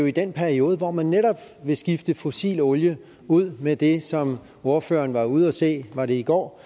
i den periode hvor man vil skifte fossil olie ud med det som ordføreren var ude at se var det i går